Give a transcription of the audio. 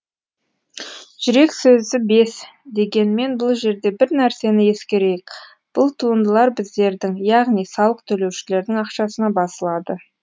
жүрек сөзі бес дегенмен бұл жерде бір нәрсені ескерейік бұл туындылар біздердің яғни салық төлеушілердің ақшасына басылады